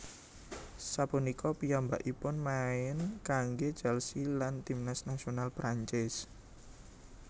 Sapunika piyambakipun main kanggé Chelsea lan tim nasional Perancis